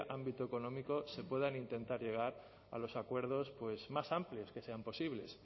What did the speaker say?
ámbito económico se pueda intentar llegar a los acuerdos más amplios que sean posibles